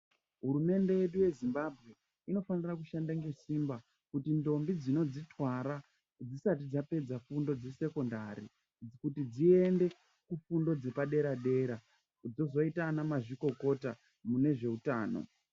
Hurumende yedu yeZimbabwe inofana kushanda nesimba kuitire kuti ndombi dzinozvitwara dzisati dzefundo yekusekondari kuti dziende kufundo yepadera dera dzozoita anamazvikokota mune zveutano .